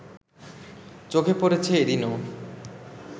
চোখে পড়েছে এদিনও